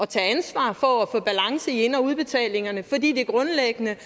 tage ansvar for at få balance i ind og udbetalingerne fordi det grundlæggende